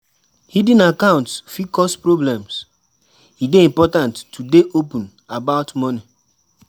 Hidden accounts fit cause problems; e dey important to dey open about money.